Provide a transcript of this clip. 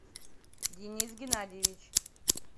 денис геннадьевич